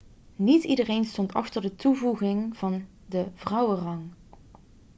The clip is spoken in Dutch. niet iedereen stond achter de toevoeging van de vrouwenrang